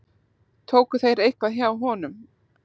Tóku þeir eitthvað hjá honum?